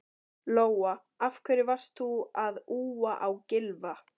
Lóa: Af hverju varst þú að úa á Gylfa?